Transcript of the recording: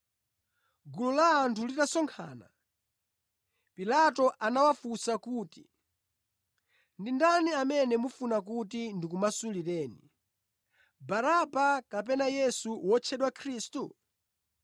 Gulu la anthu litasonkhana, Pilato anawafunsa kuti, “Ndi ndani amene mufuna kuti ndikumasulireni; Baraba kapena Yesu wotchedwa Khristu?”